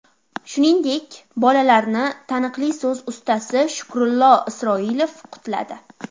Shuningdek, bolalarni taniqli so‘z ustasi Shukrullo Isroilov qutladi.